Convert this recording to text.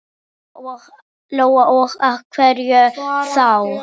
Lóa: Og af hverju þá?